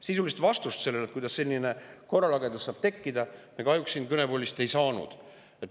Sisulist vastust sellele, kuidas selline korralagedus on saanud tekkida, me kahjuks siit kõnepuldist ei saanud.